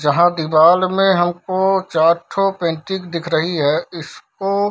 जहाँ दीवार में हमको चारठो पेंटिंग दिख रही है इसको --